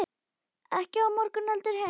Ekki á morgun heldur hinn.